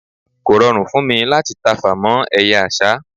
kò rọrùn fún mí láti tafà mọ eye àsá